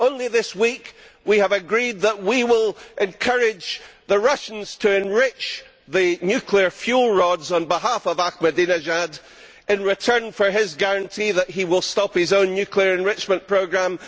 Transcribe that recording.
Only this week, we have agreed that we will encourage the Russians to enrich the nuclear fuel rods, on behalf of Ahmadinejad, in return for his guarantee that he will stop his own nuclear enrichment programme.